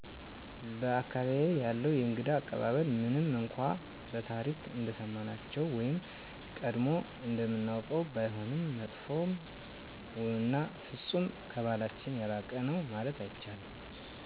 በ አካባቢየ ያለው የእንግዳ አቀባበል ምንም እነኳን በታሪክ እንደሰማናቸው ወይም ቀጀሞ እንደምናውቀው ባይሆንም መጥፎ እና ፍፁም ከበህላችን የራቀ ነው ማለት አይቻልም